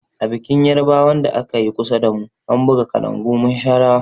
A bikin yarbawan da akayi kusa damu, an buga kalangu mun sha rawa.